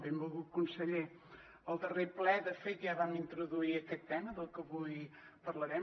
benvolgut conseller al darrer ple de fet ja vam introduir aquest tema del que avui parlarem